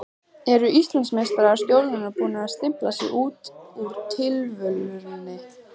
Eru Íslandsmeistarar Stjörnunnar búnir að stimpla sig út úr titilvörninni?